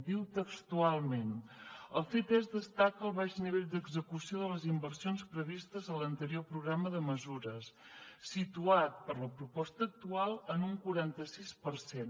diu textualment el ctesc destaca el baix nivell d’execució de les inversions previstes a l’anterior programa de mesures situat per la proposta actual en un quaranta sis per cent